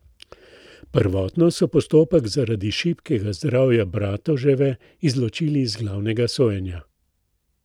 Prvotno so postopek zaradi šibkega zdravja Bratoževe izločili iz glavnega sojenja.